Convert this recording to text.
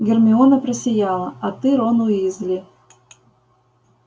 гермиона просияла а ты рон уизли